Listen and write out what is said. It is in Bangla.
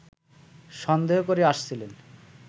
সন্দেহ করে আসছিলেন